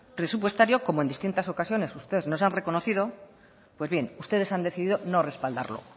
presupuestario como en distintas ocasiones ustedes nos han reconocido pues bien ustedes han decidido no respaldarlo